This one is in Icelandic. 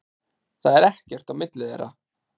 Það er ekkert á milli þeirra.